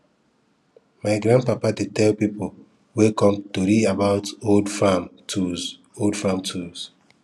my grandpapa dey tell people wey come tori about old farm tools old farm tools